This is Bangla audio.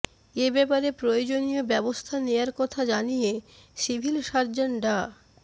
এ ব্যাপারে প্রয়োজনীয় ব্যবস্থা নেয়ার কথা জানিয়ে সিভিল সার্জন ডা